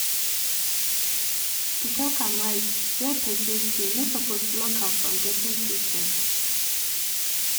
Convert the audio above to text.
to talk am straight where person stay no suppose block am from getting treatment.